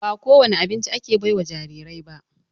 Ba ko wani abinci ake baiwa jarirai ba.